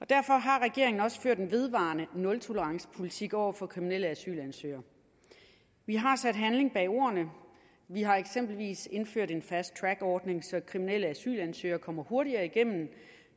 derfor har regeringen også ført en vedvarende nultolerancepolitik over for kriminelle asylansøgere vi har sat handling bag ordene vi har eksempelvis indført en fast track ordning så kriminelle asylansøgere kommer hurtigere igennem